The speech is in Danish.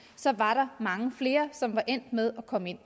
så var der mange flere som endte med at komme ind